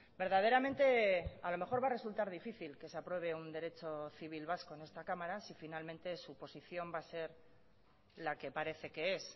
verdaderamente a lo mejor va a resultar difícil que se apruebe un derecho civil vasco en esta cámara si finalmente su posición va a ser la que parece que es